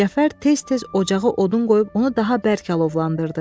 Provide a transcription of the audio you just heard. Cəfər tez-tez ocağa odun qoyub onu daha bərk alovlandırdı.